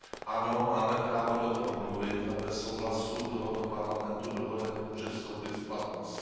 Ano, máme právo do toho mluvit a bez souhlasu tohoto Parlamentu dohoda nemůže vstoupit v platnost.